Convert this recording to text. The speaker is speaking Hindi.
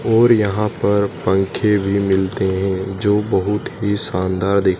और यहां पर पंखे भी मिलते हैं जो बहुत ही शानदार दिख--